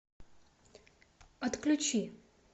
отключи